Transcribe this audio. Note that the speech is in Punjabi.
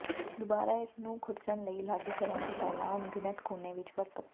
ਦੁਬਾਰਾ ਇਸ ਨੂੰ ਖੁਰਚਣ ਲਈ ਲਾਗੂ ਕਰਨ ਤੋਂ ਪਹਿਲਾਂ ਅਣਗਿਣਤ ਕੋਨੇ ਵਿੱਚ ਵਰਤੋਂ